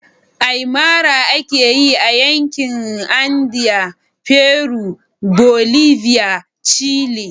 Aymara ake yi a Yankin Andean (Peru, Bolivia, Chile)